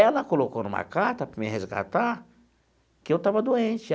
Ela colocou numa carta para me resgatar que eu estava doente.